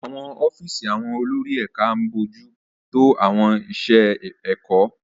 Àwọn ọ́fíìsì àwọn olórí ẹ̀ka ń bójú tó àwọn iṣẹ́ ẹ̀kọ́.